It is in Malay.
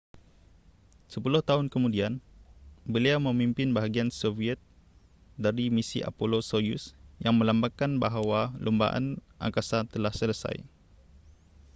sepuluh tahun kemudian beliau memimpin bahagian soviet dari misi apollo-soyuz yang melambangkan bahawa lumbaan angkasa telah selesai